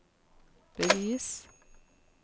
bevis